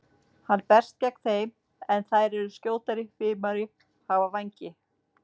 Hann berst gegn þeim en þær eru skjótari, fimari, hafa vængi.